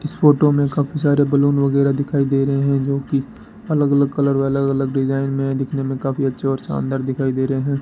इस फोटो में काफी सारे बैलून वगैरा दिखाई दे रहे हैं जो की अलग अलग कलर व अलग अलग डिजाइन में दिखने में काफी अच्छा और शानदार दिखाई दे रहे हैं।